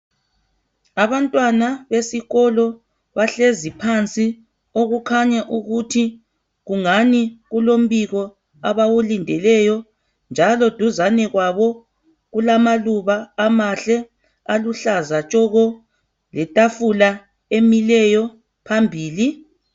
Abantwana besikolo bahlezi phansi okukhanya ukuthi kungani kulombiko abawulindeleyo njalo duzane kwabo kulamaluba amahle aluhlaza tshoko letafula emileyo phambili.